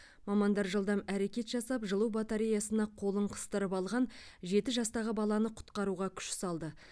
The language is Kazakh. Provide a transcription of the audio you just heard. мамандар жылдам әрекет жасап жылу батареясына қолын қыстырып алған жеті жастағы баланы құтқаруға күш салды